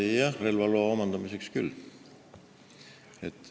Jah, relvaloa omandamisel küll.